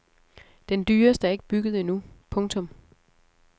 Den dyreste er ikke bygget endnu. punktum